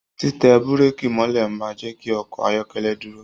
Titẹ bureki mọ̀lẹ́ máa n jẹ kí ọkọ ayọkẹlẹ dúró.